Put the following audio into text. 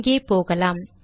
இங்கே போகலாம்